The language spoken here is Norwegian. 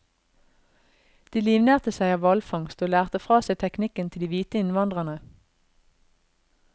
De livnærte seg av hvalfangst, og lærte fra seg teknikken til de hvite innvandrerne.